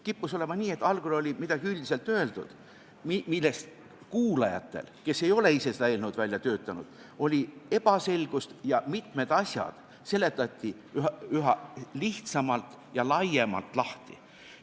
Kippus olema nii, et algul oli midagi üldiselt öeldud, mis kuulajatele, kes ei ole ise seda eelnõu välja töötanud, olid ebaselged ja mitmed asjad seletati üha lihtsamalt ja laiemalt lahti.